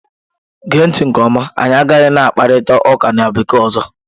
Gee ntị nke ọma! anyị agaghị na-akparịta ụka na bekee ọzọ.